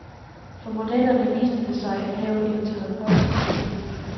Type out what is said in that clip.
For modellerne viste det sig at have en terapeutisk virkning.